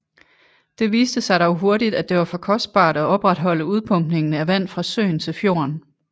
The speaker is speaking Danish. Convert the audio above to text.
Det viste sig dog hurtigt at det var for kostbart at opretholde udpumpningen af vand fra søen til fjorden